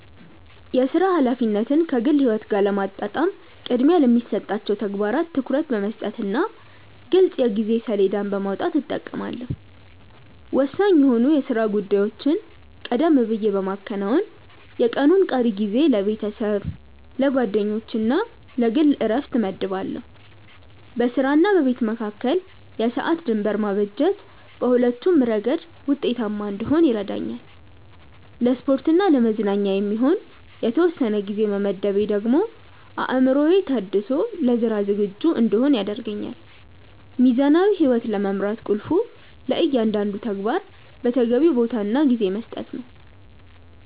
የሥራ ኃላፊነትን ከግል ሕይወት ጋር ለማጣጣም ቅድሚያ ለሚሰጣቸው ተግባራት ትኩረት በመስጠትና ግልጽ የጊዜ ሰሌዳ በማውጣት እጠቀማለሁ። ወሳኝ የሆኑ የሥራ ጉዳዮችን ቀደም ብዬ በማከናወን፣ የቀኑን ቀሪ ጊዜ ለቤተሰብ፣ ለጓደኞችና ለግል ዕረፍት እመድባለሁ። በሥራና በቤት መካከል የሰዓት ድንበር ማበጀት በሁለቱም ረገድ ውጤታማ እንድሆን ይረዳኛል። ለስፖርትና ለመዝናኛ የሚሆን የተወሰነ ጊዜ መመደቤ ደግሞ አእምሮዬ ታድሶ ለሥራ ዝግጁ እንድሆን ያደርገኛል። ሚዛናዊ ሕይወት ለመምራት ቁልፉ ለእያንዳንዱ ተግባር ተገቢውን ቦታና ጊዜ መስጠት ነው።